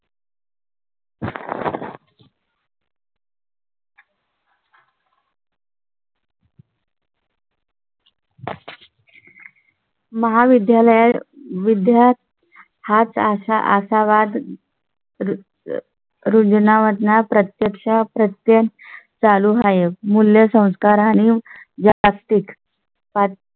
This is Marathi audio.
महाविद्यालया त विद्यार्थी हाच अशा आशावाद रुजण्या वाटण्यात या प्रत्यक्षा प्रत्य चालू आहे. मूल्य संस्कार आणि ज्या व्यासपीठ